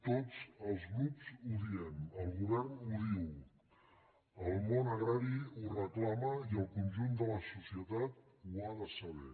tots els grups ho diem el govern ho diu el món agrari ho reclama i el conjunt de la societat ho ha de saber